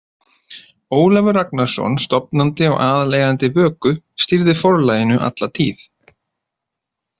Ólafur Ragnarsson, stofnandi og aðaleigandi Vöku, stýrði forlaginu alla tíð.